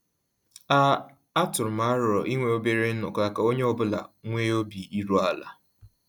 A A tụrụ m arọ inwe obere nnọkọ ka onye ọ bụla nwee obi iru ala